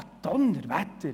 Ja, zum Donnerwetter!